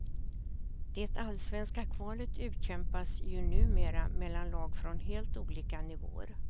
Det allsvenska kvalet utkämpas ju numera mellan lag från helt olika nivåer.